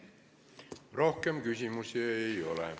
Rohkem küsimusi ei ole.